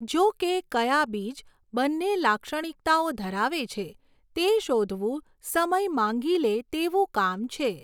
જોકે, કયા બીજ બંને લાક્ષણિકતાઓ ધરાવે છે તે શોધવું સમય માંગી લે તેવું કામ છે.